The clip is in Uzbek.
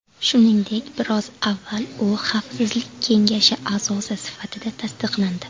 Shuningdek, biroz avval u Xavfsizlik kengashi a’zosi sifatida tasdiqlandi.